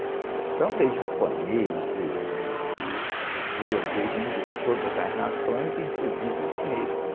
Então veio japonês, veio judeu, veio gente de todas as nações, inclusive os negros.